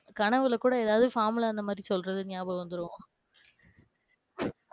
கனவுல கூட ஏதாவது formula அந்த மாதிரி சொல்றது ஞாபகம் வந்துடும்.